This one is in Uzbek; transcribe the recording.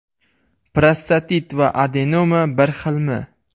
Prostatit va adenoma bir xilmi?.